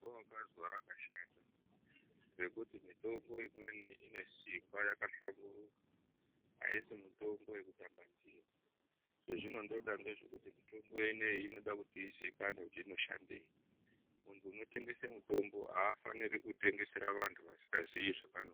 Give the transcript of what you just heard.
Izwa wakazwa rakashata, mitombo imweni inesimba, yakahlamburika aisi mitombo yekutamba ndiyo. Zvezvinondoreva ngezvekuti mitombo inoyi inoda kuti izikanwe kuti inoshandei. Muntu unotengese avafaniri kutengesera vantu vasikaziyi zvevano.